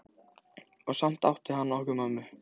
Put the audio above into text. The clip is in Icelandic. Og samt átti hann okkur mömmu.